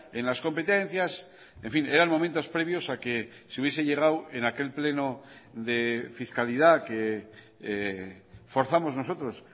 en las competencias en fin eran momentos previos a que se hubiese llegado en aquel pleno de fiscalidad que forzamos nosotros